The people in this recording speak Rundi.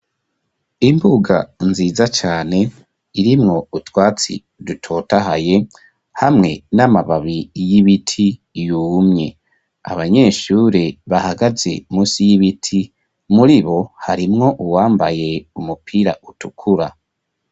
Imbuga nziza cane irimwo utwatsi dutotahaye hamwe n'amababi y'ibiti yumye. Abanyeshure bahagaze musi y'ibiti muri bo harimwo uwambaye umupira utukura.